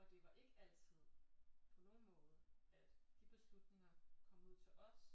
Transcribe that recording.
Og det var ikke altid på nogen måde at de beslutninger kom ud til os